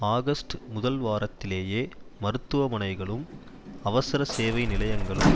August முதல் வாரத்திலேயே மருத்துவமனைகளும் அவசர சேவை நிலையங்களும்